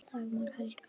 Dagmar Helga.